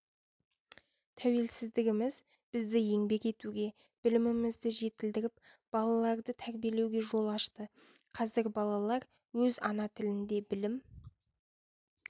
тәуелсіздігіміз бізді еңбек етуге білімімізді жетілдіріп балаларды тәрбиелеуге жол ашты қазір балалар өз ана тілінде білім